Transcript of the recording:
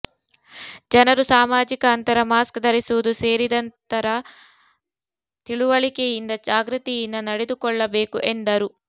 ಜನರು ಸಾಮಾಜಿಕ ಅಂತರ ಮಾಸ್ಕ್ ಧರಿಸುವುದು ಸೇರಿದಂತರ ತಿಳುವಳಿಕೆಯಿಂದ ಜಾಗೃತಿಯಿಂದ ನಡೆದುಕೊಳ್ಳಬೇಕು ಎಂದರು